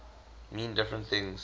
mean different things